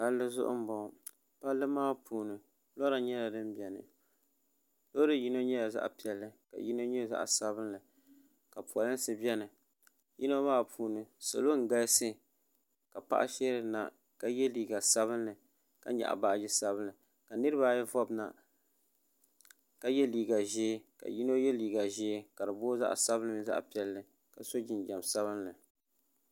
palli zuɣu n bɔŋɔ palli maa puuni lora nyɛla din biɛni loori yindi nyɛla zaɣ piɛlli ka yindi nyɛ zaɣ sabinli ka polinsi biɛni yino maa puuni salɔ n galisi ka paɣa sheerina ka yɛ liiga sabinli ka nyaɣa baajo sabinli niraba ayi vobina ka yino yɛ liiga ʒiɛ ka di booi zaɣ sabinli mini zaɣ piɛlli ka so jinjɛm sabinli